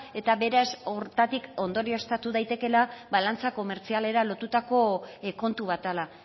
eta beraz hortik ondorioztatu daitekeela balantza komertzialera lotutako kontu bat dela